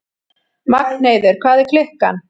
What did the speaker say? Magnheiður, hvað er klukkan?